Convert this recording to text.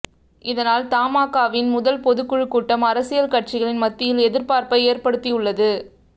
இதனால் தமாகாவின் முதல் பொதுக்குழு கூட்டம் அரசியல் கட்சிகளின் மத்தியில் எதிர்பார்ப்பை ஏற்படுத்தியுள்ளது